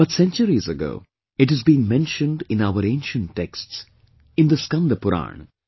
But centuries ago, it has been mentioned in our ancient texts, in the Skand Puran